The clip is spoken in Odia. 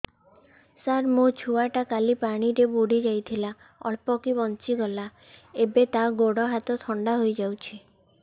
ସାର ମୋ ଛୁଆ ଟା କାଲି ପାଣି ରେ ବୁଡି ଯାଇଥିଲା ଅଳ୍ପ କି ବଞ୍ଚି ଗଲା ଏବେ ତା ଗୋଡ଼ ହାତ ଥଣ୍ଡା ହେଇଯାଉଛି